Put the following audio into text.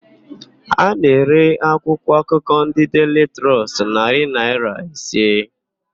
A na-ere akwụkwọakụkọ ndị Deili Trọst narị naịra ise.